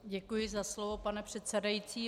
Děkuji za slovo, pane předsedající.